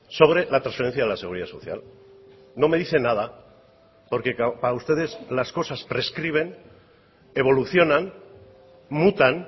sobre la transferencia de la seguridad social no me dice nada porque para ustedes las cosas prescriben evolucionan mutan